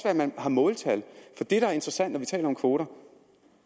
at man har måltal for det der er interessant når vi taler om kvoter